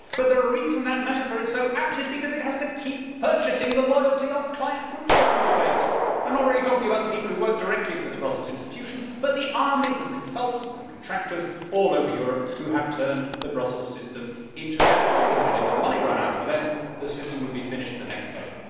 But the reason that metaphor is so apt is because it has to keep purchasing the loyalty of client groups around the place. I am not really talking about the people who work directly for the Brussels institutions but the armies of consultants and contractors all over Europe who have turned the Brussels system into their livelihood, and if the money ran out for them the system would be finished the next day.